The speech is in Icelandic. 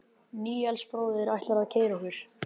Níels bróðir ætlar að keyra okkur.